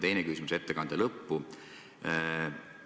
Teine küsimus on ettekande lõpu kohta.